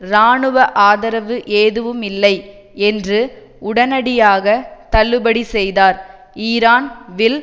இராணுவ ஆதரவு எதுவுமில்லை என்று உடனடியாக தள்ளுபடி செய்தார் ஈரான் வில்